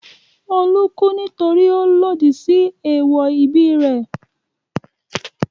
Olú kú nítorí ó lòdì sí èèwọ̀ ẹbí rẹ̀.